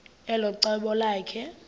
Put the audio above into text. elo cebo lakhe